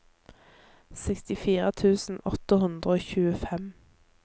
sekstifire tusen åtte hundre og tjuefem